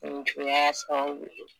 Nijuya y'a sababu ye